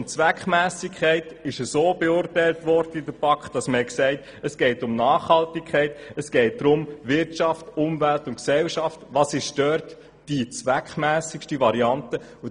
Die Zweckmässigkeit wurde von der BaK so beurteilt, dass es um Nachhaltigkeit geht sowie darum, was in Bezug auf Wirtschaft, Umwelt und Gesellschaft die zweckmässigste Variante ist.